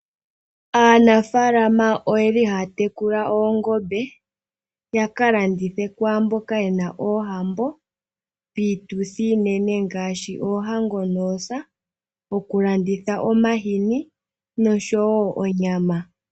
Aanafaalama oyeli haya tekula oongombe yaka landithe kwaamboka yena oohambo, piituthi iinene ngaashi oohango noosa, okulanditha omahini noshowoo onyama.